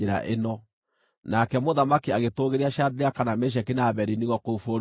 Nake mũthamaki agĩtũũgĩria Shadiraka, na Meshaki, na Abedinego kũu bũrũri wa Babuloni.